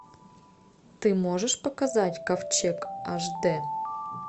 ты можешь показать ковчег аш дэ